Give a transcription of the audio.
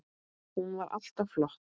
Hún var alltaf flott.